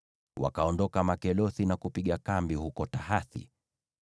Wakaondoka Makelothi na kupiga kambi huko Tahathi.